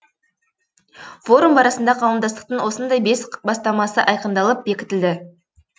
форум барысында қауымдастықтың осындай бес бастамасы айқындалып бекітілді